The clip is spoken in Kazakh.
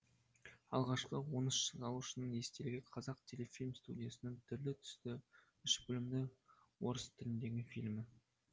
алғашқы он үш салушының естелігі қазақтелефильм студиясының түрлі түсті үш бөлімді орыс тіліндегі фильмі